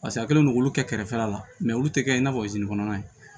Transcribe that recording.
Paseke a kɛlen don k'olu kɛ kɛrɛfɛla la olu tɛ kɛ i n'a fɔ kɔnɔna ye